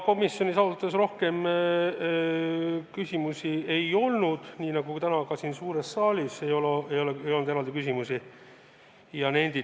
Komisjonis ausalt öeldes rohkem küsimusi ei olnud, nii nagu täna ka siin suures saalis eraldi küsimusi ei olnud.